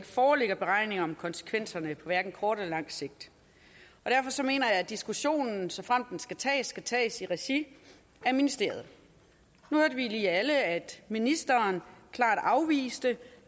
foreligger beregninger om konsekvenserne på hverken kort eller langt sigt derfor mener jeg at diskussionen såfremt den skal tages skal tages i regi af ministeriet nu hørte vi lige alle at ministeren klart afviste